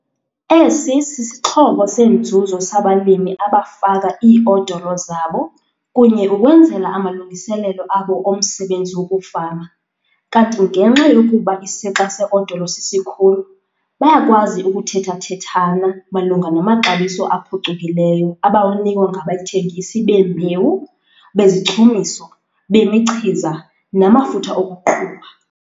Esi sisixhobo senzuzo sabalimi abafaka ii-odolo zabo kunye ukwenzela amalungiselelo abo omsebenzi wokufama kanti ngenxa yokuba isixa se-odolo sisikhulu, bayakwazi ukuthetha-thethana malunga namaxabiso aphucukileyo abawanikwa ngabathengisi bembewu, bezichumiso, bemichiza namafutha okuqhuba.